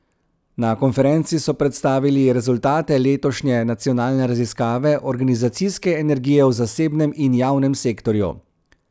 Na konferenci so predstavili rezultate letošnje nacionalne raziskave organizacijske energije v zasebnem in javnem sektorju.